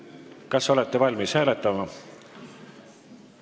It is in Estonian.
Hääletame!